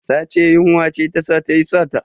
Ta ce yunwa ce ta sa tayi sata.